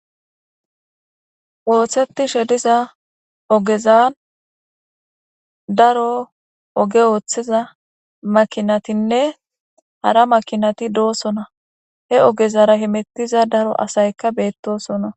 Oothetishe diza ogezan daro oge woththiza makinatinne hara makinati doosona he ogezara himittiza daro asayka beettosona.